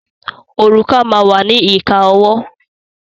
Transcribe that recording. Òrùka máa wà ní ìka ọwọ́.